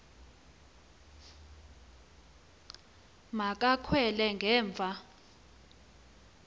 ma kakhwele ngemva